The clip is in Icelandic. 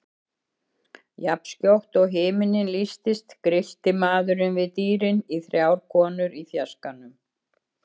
Jafnskjótt og himinninn lýstist grillti maðurinn við dýrin í þrjár konur í fjarskanum.